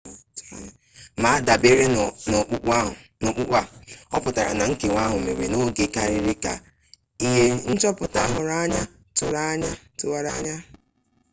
ma adabere n'ọkpụkpụ a ọputara na nkewa ahụ mere n'oge karịa ka ihe nchọpụta ahụrụ anya tụwara anya